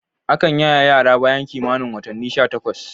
Akan yaye yara bayan kimanin watannin sha takwas.